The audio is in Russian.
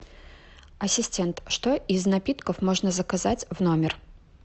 ассистент что из напитков можно заказать в номер